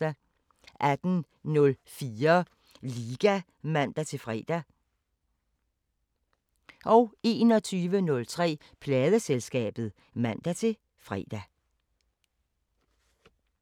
18:04: Liga (man-fre) 21:03: Pladeselskabet (man-fre)